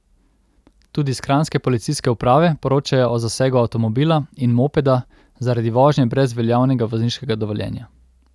Tudi s kranjske policijske uprave poročajo o zasegu avtomobila in mopeda zaradi vožnje brez veljavnega vozniškega dovoljenja.